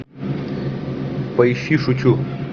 поищи шучу